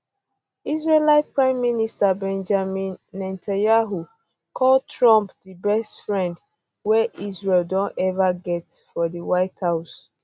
israeli prime minister benjamin netanyahu call trump di best friend wey israel don ever get for di white house